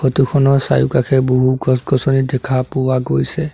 ফটোখনৰ চাৰিওকাষে বহু গছ-গছনি দেখা পোৱা গৈছে।